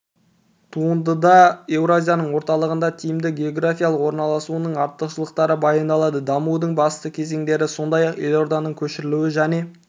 туындыда еуразияның орталығында тиімді географиялық орналасуының артықшылықтары баяндалады дамудың басты кезеңдері сондай-ақ елорданың көшірілуі және